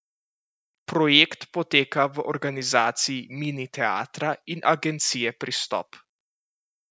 Projekt poteka v organizaciji Mini teatra in agencije Pristop.